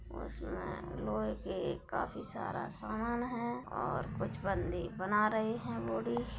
और उसमे लोहे के काफी सारा सामान है और कुछ बंदे बना रहे हैं बॉडी ।